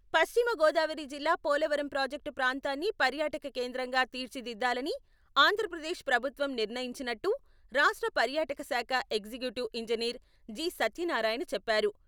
పశ్చిమ గోదావరి జిల్లా పోలవరం ప్రాజెక్టు ప్రాంతాన్ని పర్యాటక కేంద్రంగా తీర్చిదిద్దాలని ఆంధ్రప్రదేశ్ ప్రభుత్వం నిర్ణయించినట్టు రాష్ట్ర పర్యాటక శాఖ ఎగ్జిక్యూటివ్ ఇంజినీర్ జి.సత్యనారాయణ చెప్పారు.